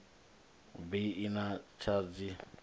bi i na tshadzhi ya